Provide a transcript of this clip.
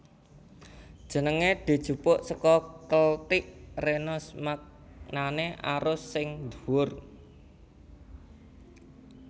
Jenengé dijupuk saka Keltik renos maknané arus sing dhuwur